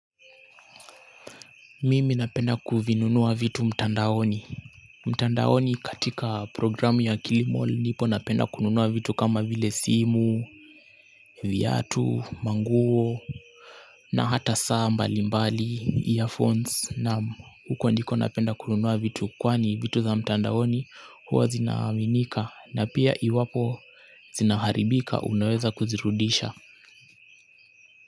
Mimi napenda kuvinunua vitu mtandaoni mtandaoni katika programu ya Kilimal ndipo napenda kununua vitu kama vile simu, viatu, manguo na hata saa mbali mbali, earphones na huko ndiko napenda kununua vitu kwani vitu za mtandaoni huwa zinaaminika na pia iwapo zinaharibika unaweza kuzirudisha.